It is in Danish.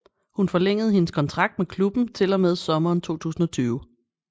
Hun forlængede hendes kontrakt med klubben til og med sommeren 2020